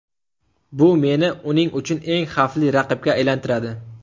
Bu meni uning uchun eng xavfli raqibga aylantiradi.